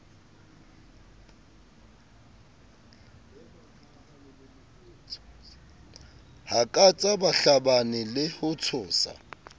hakatsa bahlabani le ho tshosa